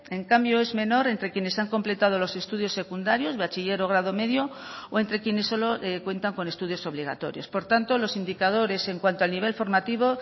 en cambio es menor entre quienes han completado los estudios secundarios bachiller o grado medio o entre quienes solo cuentan con estudios obligatorios por tanto los indicadores en cuanto al nivel formativo